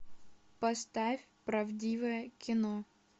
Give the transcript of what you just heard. поставь правдивое кино